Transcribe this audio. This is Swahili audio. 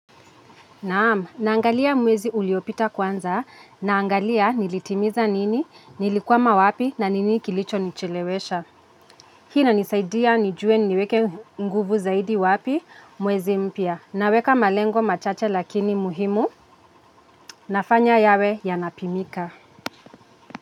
Naam, naangalia mwezi uliyopita kwanza naangalia nilitimiza nini, nilikwama wapi na ni nini kilicho nichelewesha. Hii ina nisaidia nijue niweke nguvu zaidi wapi mwezi mpya naweka malengo machache lakini muhimu nafanya yawe yanapimika.